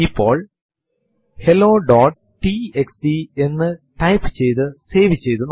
ഉണമേ space hyphen എന്ന് prompt ൽ type ചെയ്തു എന്റർ അമർത്തുക